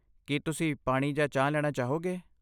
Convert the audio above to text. ਕੀ ਤੁਸੀਂ ਪਾਣੀ ਜਾਂ ਚਾਹ ਲੈਣਾ ਚਾਹੋਗੇ?